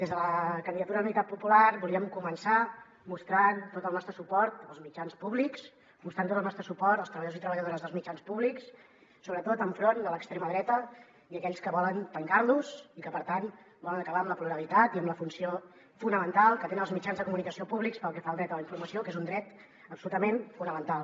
des de la candidatura d’unitat popular volíem començar mostrant tot el nostre suport als mitjans públics mostrant tot el nostre suport als treballadors i treballadores dels mitjans públics sobretot enfront de l’extrema dreta i aquells que volen tancar los i que per tant volen acabar amb la pluralitat i amb la funció fonamental que tenen els mitjans de comunicació públics pel que fa al dret a la informació que és un dret absolutament fonamental